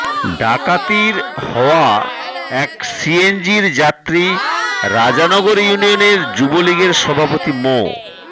ডাকাতির হওয়া এক সিএনজির যাত্রী রাজানগর ইউনিয়নের যুবলীগের সভাপতি মো